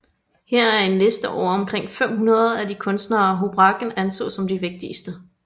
Her er en liste over omkring 500 af de kunstnere Houbraken anså som de vigtigste